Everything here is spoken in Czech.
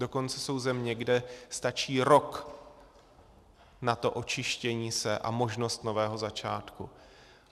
Dokonce jsou země, kde stačí rok na to očištění se a možnost nového začátku.